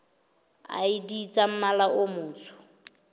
id tsa mmala o motsho